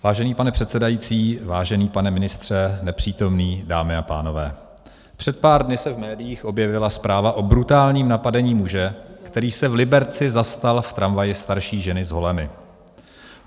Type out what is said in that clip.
Vážený pane předsedající, vážený pane ministře - nepřítomný, dámy a pánové, před pár dny se v médiích objevila zpráva o brutálním napadení muže, který se v Liberci zastal v tramvaji starší ženy s holemi.